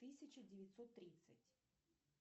тысяча девятьсот тридцать